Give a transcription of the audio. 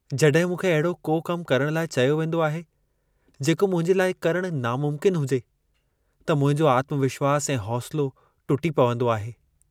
जॾहिं मूंखे अहिड़ो को कम करण लाइ चयो वेंदो आहे, जेको मुंहिंजे लाइ करण नामुमकिन हुजे, त मुंहिंजो आत्मविश्वास ऐं हौसलो टुटी पवंदो आहे।